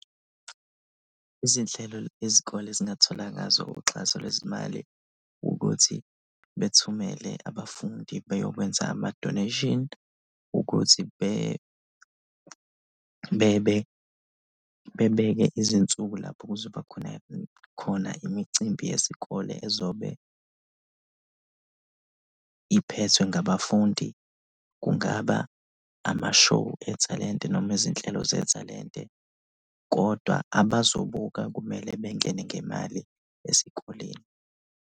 Izinhlelo izikole ezingathola ngazo uxhaso lwezimali ukuthi bethumele abafundi beyokwenza ama-donation ukuthi bebeke izinsuku lapho kuzoba khona, khona imicimbi yesikole ezobe iphethwe ngabafundi, kungaba ama-show ethalente noma izinhlelo zethalente kodwa abazobhuka kumele bengene ngemali esikoleni.